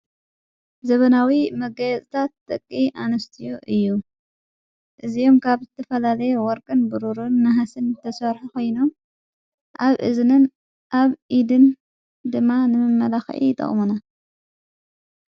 ዘበናዊ መጋየፅታት ጥቂ ኣንስትዮ እዩ እዝኦም ካብ ዝቲፈላሌየ ወርገን ብሩርን ንሃስን ተሸርሐ ኾይኖም ኣብ እዝንን ኣብ ኢድን ድማ ንምመላኽኢ ይጠቕሙና።